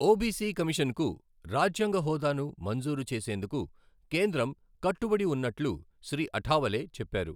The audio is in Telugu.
ఒబిసి కమిషన్కు రాజ్యాంగ హోదాను మంజూరు చేసేందుకు కేంద్రం కట్టుబడి ఉన్నట్లు శ్రీ అఠావలే చెప్పారు.